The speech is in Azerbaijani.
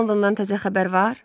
Londondan təzə xəbər var?